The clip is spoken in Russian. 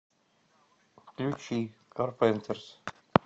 включи карпентерс